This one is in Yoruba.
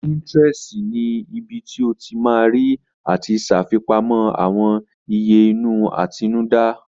Pinterest ni ibi tí o ti ma rí àti ṣàfipamọ́ àwọn ìyè inú àtinúdá